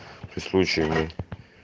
ты случаями